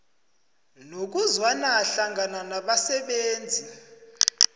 nokuzwana hlangana nabasebenzi